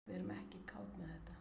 Við erum ekki kát með þetta